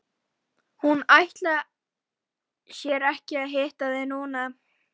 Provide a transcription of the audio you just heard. Hún ætlar sér ekki að hitta þig núna.